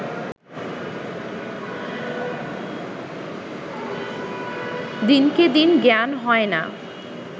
দিনকে দিন জ্ঞান হয় না